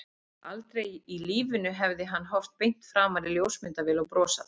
Aldrei í lífinu hefði hann horft beint framan í ljósmyndavél og brosað.